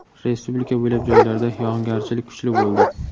Respublika bo‘ylab joylarda yog‘ingarchilik kuchli bo‘ldi.